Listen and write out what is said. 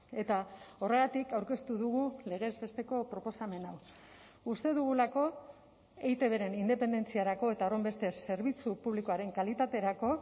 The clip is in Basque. eta horregatik aurkeztu dugu legez besteko proposamen hau uste dugulako eitbren independentziarako eta horrenbestez zerbitzu publikoaren kalitaterako